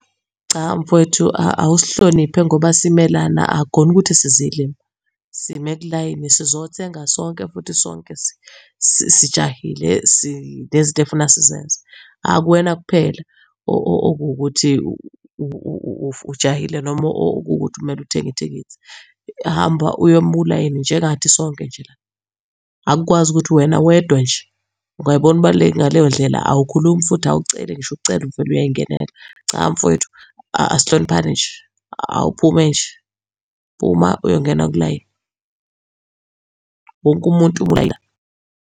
Cha mfowethu awusihloniphe ngoba sime lana akukhona ukuthi sizilima. Sime kulayini, sizothenga sonke, futhi sonke sijahile sinezinto efuna sizenze. Akuwena kuphela okuwukuthi ujahile noma okuwukuthi kumele uthenge ithikithi. Hamba uyoma ulayini, njengathi sonke nje la. Akukwazi ukuthi wena wedwa nje ungayibona ubaluleke ngaleyo ndlela awukhulumi futhi awuceli ngisho ukucela uvele uyayingenela. Cha mfwethu asihloniphane nje, awuphume nje, phuma uyongena kulayini. Wonke umuntu .